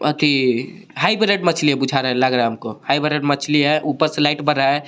Hybrid मछली है। कुछ आ लग रहा है हमको हाइबरेड मछली है ऊपर से लाइट बर रहा है।